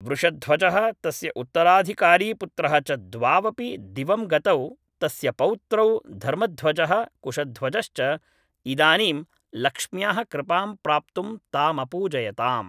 वृषध्वजः तस्य उत्तराधिकारीपुत्रः च द्वावपि दिवं गतौ तस्य पौत्रौ धर्मध्वजः कुशध्वजश्च इदानीं लक्ष्म्याः कृपां प्राप्तुं तामपूजयताम्